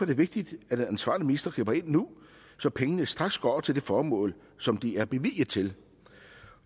det vigtigt at den ansvarlige minister griber ind nu så pengene straks går til det formål som de er bevilget til